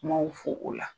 Kumaw fɔ o la